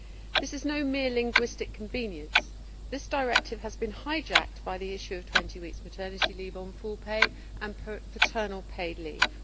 This is no mere linguistic convenience. This directive has been hijacked by the issue of 20 weeks' maternity leave on full pay and paternal paid leave.